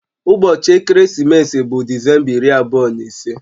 Ụbọchị ekeresimesi bụ Disemba iri abụọ na ise